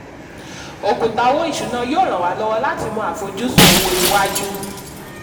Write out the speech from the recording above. òkùtà owó ìṣúná yóò ràn wá lọ́wọ́ láti mọ àfojúsùn owó iwájú.